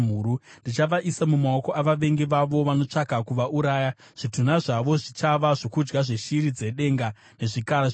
Ndichavaisa mumaoko avavengi vavo vanotsvaka kuvauraya. Zvitunha zvavo zvichava zvokudya zveshiri dzedenga nezvikara zvenyika.